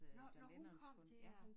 Nå nå hun kom dér